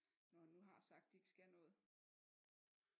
Når han nu har sagt at de ikke skal noget